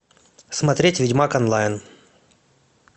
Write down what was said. смотреть ведьмак онлайн